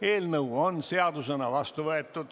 Eelnõu on seadusena vastu võetud.